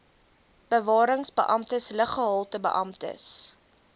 bewarings beamptes luggehaltebeamptes